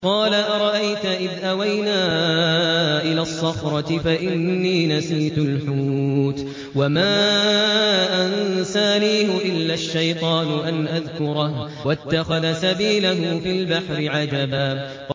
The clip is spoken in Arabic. قَالَ أَرَأَيْتَ إِذْ أَوَيْنَا إِلَى الصَّخْرَةِ فَإِنِّي نَسِيتُ الْحُوتَ وَمَا أَنسَانِيهُ إِلَّا الشَّيْطَانُ أَنْ أَذْكُرَهُ ۚ وَاتَّخَذَ سَبِيلَهُ فِي الْبَحْرِ عَجَبًا